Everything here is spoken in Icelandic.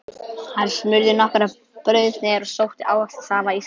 Hann smurði nokkrar brauðsneiðar og sótti ávaxtasafa í ísskápinn.